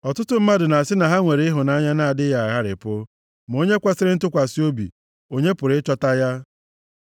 Ọtụtụ mmadụ na-asị na ha nwere ịhụnanya na-adịghị agharịpụ, ma onye kwesiri ntụkwasị obi, onye pụrụ ịchọta ya?